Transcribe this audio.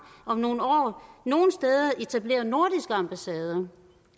om nogle år nogle steder etablerer nordiske ambassader